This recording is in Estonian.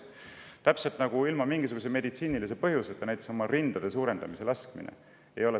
Täpselt samuti nagu ei ole tervishoiuteenus ilma mingisuguse meditsiinilise põhjuseta oma rindade suurendada laskmine.